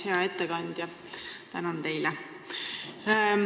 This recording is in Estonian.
Hea ettekandja, tänan teid!